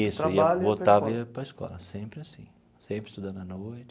Isso ia, voltava e ia para a escola, sempre assim, sempre estudando à noite.